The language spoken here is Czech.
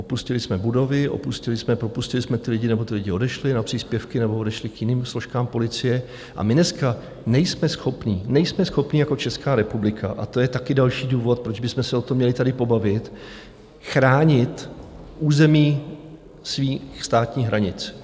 Opustili jsme budovy, opustili jsme, propustili jsme ty lidi nebo ti lidé odešli na příspěvky nebo odešli k jiným složkám policie a my dneska nejsme schopni, nejsme schopni jako Česká republika, a to je taky další důvod, proč bychom se o tom měli tady pobavit, chránit území svých státní hranic.